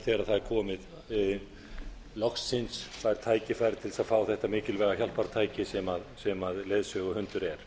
þegar það er komið loksins fær tækifæri til að fá þetta mikilvæga hjálpartæki sem leiðsöguhundur er